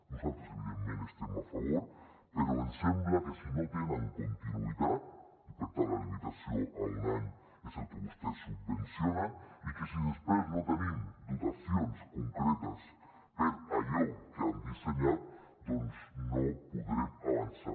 nosaltres evidentment hi estem a favor però ens sembla que si no tenen continuïtat i per tant la limitació a un any és el que vostès subvencionen i que si després no tenim dotacions concretes per allò que han dissenyat doncs no podrem avançar